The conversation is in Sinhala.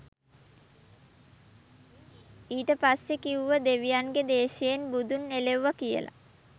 ඊට පස්සෙ කිවුව දෙවියන්ගෙ දේශයෙන් බුදුන් එලෙව්ව කියල